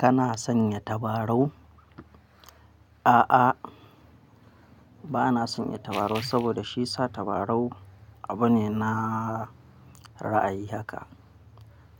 Kana sanya tabarau? A'a, bana sanya tabarau saboda shi sa tabarau abu ne na ra'ayi haka.